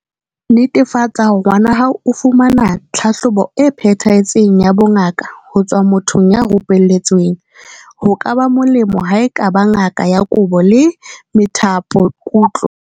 Netefatsa hore ngwana hao o fumana tlhahlobo e phethahetseng ya bongaka ho tswa mothong ya rupelletsweng, ho ka ba molemo ha e ka ba ngaka ya boko le methapokutlo.